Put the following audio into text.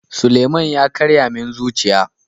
Suleman ya karya min zuciya.